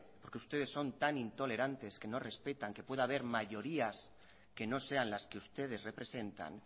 porque ustedes son tan intolerantes que no respetan que pueda haber mayorías que no sean las que ustedes representan